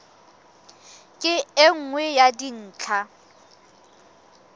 ke e nngwe ya dintlha